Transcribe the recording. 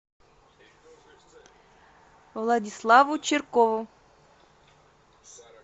владиславу чиркову